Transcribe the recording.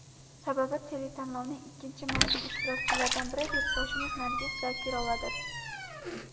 Sababi, teletanlovning ikkinchi mavsum ishtirokchilaridan biri yurtdoshimiz Nargiz Zokirovadir.